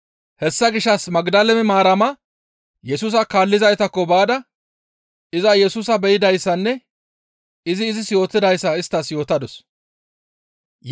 Hessa gishshas Magdale Maarama Yesusa kaallizaytakko baada iza Yesusa be7idayssanne izi izis yootidayssa isttas yootadus.